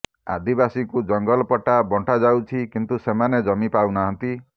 ଆଦିବାସୀଙ୍କୁ ଜଙ୍ଗଲ ପଟ୍ଟା ବଣ୍ଟା ଯାଉଛି କିନ୍ତୁ ସେମାନେ ଜମି ପାଉନାହାନ୍ତି